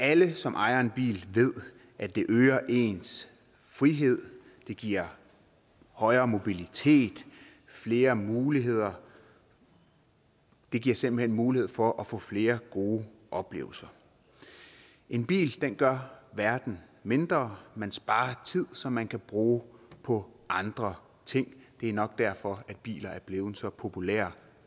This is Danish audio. alle som ejer en bil ved at det øger ens frihed det giver højere mobilitet og flere muligheder det giver simpelt hen mulighed for at få flere gode oplevelser en bil gør verden mindre man sparer tid som man kan bruge på andre ting det er nok derfor at bilen er blevet så populær